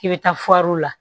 K'i bɛ taa la